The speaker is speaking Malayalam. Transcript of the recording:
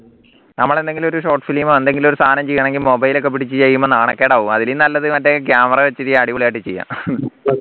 നമ്മളെന്തെങ്കിലും ഒരു short film എന്തെങ്കിലും ഒരു സാധനം ചെയ്യണമെങ്കി mobile ഒക്കെ പിടിച്ച് ചെയ്യുമ്പോ നാണക്കേടാ അതിലും നല്ലത് മറ്റേ camera വെച്ചിട്ട് അടിപൊളി ആയിട്ട് ചെയ്യാം